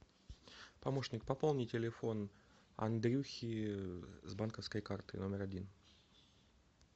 помощник пополни телефон андрюхи с банковской карты номер один